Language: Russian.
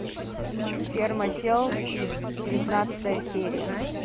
ферма тел девятнадцатая серия